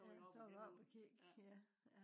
så var du op og kig ja